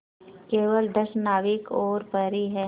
केवल दस नाविक और प्रहरी है